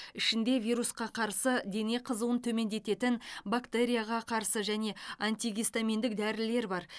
ішінде вирусқа қарсы дене қызуын төмендететін бактерияға қарсы және антигистаминдік дәрілер бар